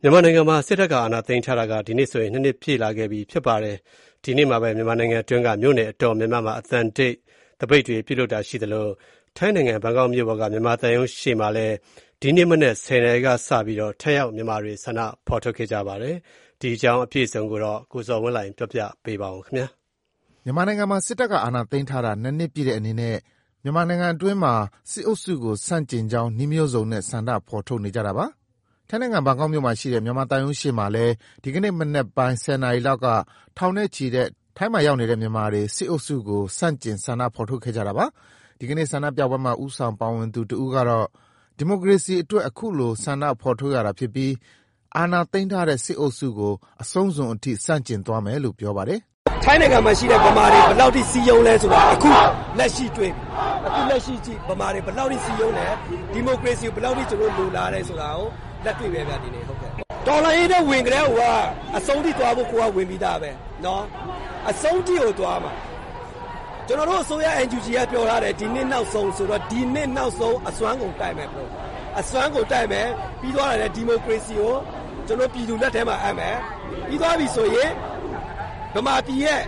မြန်မာနိုင်ငံမှာစစ်တပ်က အာဏာသိမ်းထားတာဒီကနေ့ဆိုရင် ၂နှစ်ပြည့်ခဲ့ပြီလဲဖြစ်ပါတယ်။ ဒီကနေ့မှာပဲ မြန်မာနိုင်ငံအတွင်းက မြို့နယ်တော်တော်များများမှာ အသံတိတ်သပိတ်တွေပြု လုပ်တာရှိသလို ထိုင်းနိုင်ငံဘန် ကောက်မြို့ပေါ်ကမြန်မာသံရုံးရှေ့မှာ ဒီကနေ့မနက် ၁၀နာရီ ကစပြီးတော့ထိုင်ရောက် မြန်မာတွေ ဆန္ဒထုတ်ဖော်ခဲ့ကြပါတယ်။ ဒီအကြောင်း အပြည့်အစုံကိုတော့ ကိုဇော်ဝင်းလှိုင်က တင်ပြပေးပါမယ်။ မြန်မာနိုင်ငံမှာ စစ်တပ်က အာဏာသိမ်းထားတာ ၂နှစ်ပြည့်အနေနဲ့ မြန်မာနိုင်ငံအတွင်းမှာ စစ်အုပ်စုကို ဆန့်ကျင်ကြောင်း နည်းမျိုးစုံနဲ့ ဆန္ဒထုတ်ဖော်နေကြတာပါ။ ထိုင်းနိုင်ငံ ဘန်ကောက်မြို့ မြန်မာသံရုံးရှေ့မှာလည်း ဒီကနေ့ မနက်ပိုင်း ၁၀နာရီလောက်က ထောင်နဲ့ချီတဲ့ ထိုင်းရောက်မြန်မာတွေ စစ်အုပ်စုကို ဆန့်ကျင်ဆန္ဒထုတ်ဖော်ခဲ့ကြတာပါ။ ဒီကနေ့ဆန္ဒပြပွဲမှာဦးဆောင်ပါဝင်တဦးကတော့ ဒီမိုကရေစီအတွက် အခုလို ဆန္ဒဖော်ထုတ်ရတာဖြစ်ပြီး အာဏာသိမ်းထားတဲ့ စစ်အုပ်စုကို အဆုံးစွန်ထိ ဆန့်ကျင်သွားမယ်လို့ပြောပါတယ်။ “ ထိုင်းနိုင်ငံမှာရှိတဲ့ ဗမာတွေ ဘယ်လောက်ထိ စည်းရုံးလဲဆိုတာ အခုတွေ့တယ်၊ အခုလက်ရှိကြည့် ဗမာတွေ ဘယ်လောက်ထိ စည်းရုံးလဲ၊ ဒီမိုကရေစီကို ဘယ်လောက်ထိ လိုလားလဲဆိုတာ လက်တွေ့ပဲဗျာဒီနေ့။ တော်လှန်ရေးထဲကို ဝင်ကတည်းက အဆုံးထိသွားဖို့ ကိုယ်ကဝင်ပြီးသားပဲ အဆုံးအထိကိုသွားမှာ ကျနော်တို့ အစိုးရ NUGက ပြောထားတယ် ဒီနှစ်နောက်ဆုံး အစွန်းကုန်တိုက်မယ်၊ ပြီတော့ ဒီမိုကရေစီကို ပြည်သူလက်ထဲမှာအပ်တယ်၊ ပြီးသွားရင် ဗမာပြည်ရဲ့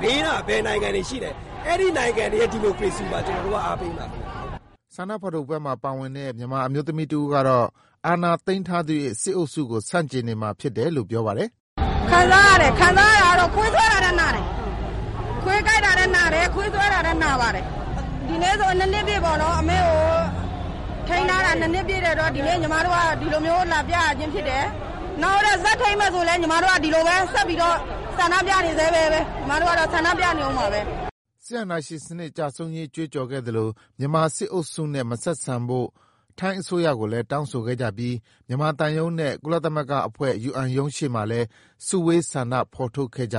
ဘေးနားက နိုင်ငံတွေရဲ့ ဒီမိုကရေစီကိုပါ အားပေးမှာကျနော်တို့က” ဆန္ဒထုတ်ဖော်ပွဲမှာ ပါဝင်တဲ့ မြန်မာအမျိုးသမီးတဦးကတော့ အာဏာသိမ်းထားသရွေ့ စစ်အုပ်စုကို ဆန့်ကျင်နေမှာ ဖြစ်တယ်လို့ပြောပါတယ်။ “ ခံစားရတယ် ခံစားရတာကတော့ ခွေးဆွဲတာထက်နာတယ်၊ ခွေးကိုက်တာထက်နာတယ်၊ ဒီနေ့အမေ့ကို ထိန်းထားတာ ၂နှစ်ပြည့်တော့ ညီမတို့ဒီလိုလာပြရတာဖြစ်တယ်၊ နောက်ဆက်ထိန်းထားမယ်ဆိုရင်လည်း ညီမတို့ကတော့ ဆန္ဒဆက်ပြနေအုံးမှာပဲ” စစ်အာဏာရှင်စနစ်ကျဆုံးရေးကြွေးကြော်ခဲ့ကြသလို မြန်မာစစ်အုပ်စုနဲ့ မဆက်ဆံဖို့ထိုင်း အစိုးရကိုလဲ တောင်းဆိုခဲ့ကြပြီး မြန်မာသံရုံးနဲ့ ကုလသမဂ္ဂအဖွဲ့ ရုံးရှေ့မှာလဲ စုဝေး ဆန္ဒထုတ်ဖော်ခဲ့ကြ